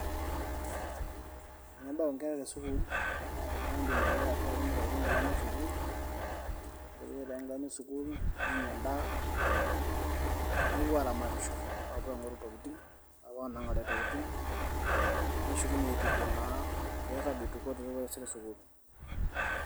Tenebau inkera te skuul naa eedim ake atiaki meitayutu inkilani esukuul ore Peidip aitayutu inkilani nenya endaa, nepuo aaramatisho nepuo aing'oru Intokitin aapuo aanang'are naa neshukunyie aitukuo naa peirrag eitukote nepuo taisere sukuul.